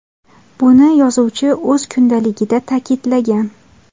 Buni yozuvchi o‘z kundaligida ta’kidlagan.